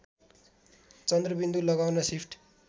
चन्द्रबिन्दु लगाउन सिफ्ट